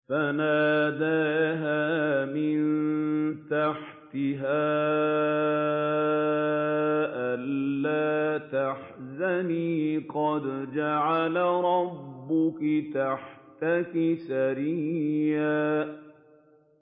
فَنَادَاهَا مِن تَحْتِهَا أَلَّا تَحْزَنِي قَدْ جَعَلَ رَبُّكِ تَحْتَكِ سَرِيًّا